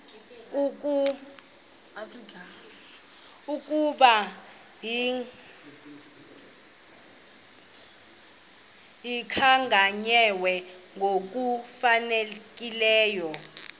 ukuba zikhankanywe ngokufanelekileyo